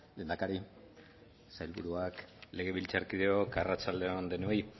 lehendakari sailburuak legebiltzarkideok arratsalde on denoi